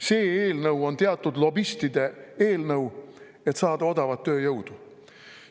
See eelnõu on teatud lobistide eelnõu, et saada odavat tööjõudu.